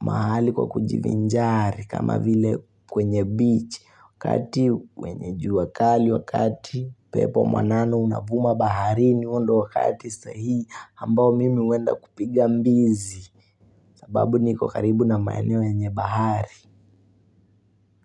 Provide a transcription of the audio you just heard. mahali pa kujivinjari kama vile kwenye beach. Wakati wenye jua kali, wakati pepo mwanana unavuma bahari huo ndio wakati sahii. Ambao mimi huenda kupiga mbizi. Sababu niko karibu na maeneo yenye bahari.